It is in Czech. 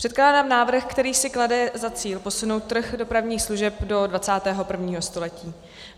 Předkládám návrh, který si klade za cíl posunout trh dopravních služeb do 21. století.